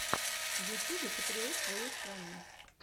в ютубе патриот своей страны